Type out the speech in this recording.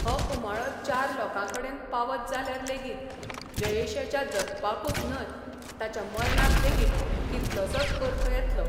हो उमाळो चार लोकांकडेन पावत जाल्यार लेगीत जयेशाच्या जगपाकूच न्हय, ताच्या मर्णाक लेगीत कितलोसोच अर्थ येतलो...